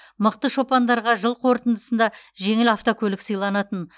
мықты шопандарға жыл қорытындысында жеңіл автокөлік сыйланатын